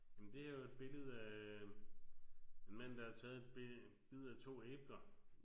Men det her er jo et billede af en mand der har taget et be bid af 2 æbler